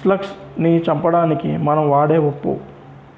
slugs ని చంపడానికి మనం వాడే ఉప్పు